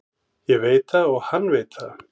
Ég veit það og hann veit það.